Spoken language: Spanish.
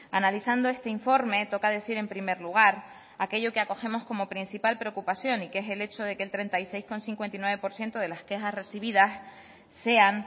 analizando este informe toca decir en primer lugar aquello que acogemos como principal preocupación y que es el hecho de que el treinta y seis coma cincuenta y nueve por ciento de las quejas recibidas sean